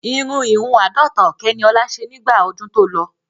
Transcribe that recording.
Irun ìhun àádọ́ta ọ̀kẹ́ ni ọ̀la ṣe nígbà ọdún tó lọ.